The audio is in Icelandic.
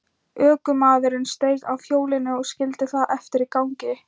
Ökumaðurinn steig af hjólinu og skildi það eftir í gangi.